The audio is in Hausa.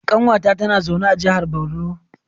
Kanwata tana zaune a jihar Borno.